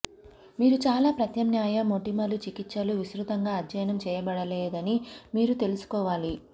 మీరు చాలా ప్రత్యామ్నాయ మోటిమలు చికిత్సలు విస్తృతంగా అధ్యయనం చేయబడలేదని మీరు తెలుసుకోవాలి